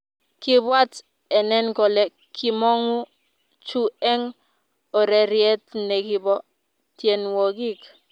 Kibwaat enen kole kimongu chu eng ureriet ne kibo tienwokik